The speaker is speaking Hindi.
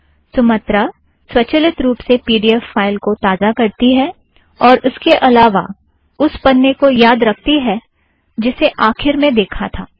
सुमत्रा स्वचलित रूप से पी ड़ी एफ़ फ़ाइल को ताज़ा करती है और इसके अलावा उस पन्ने को याद रकती है जिसे आखिर में देखा था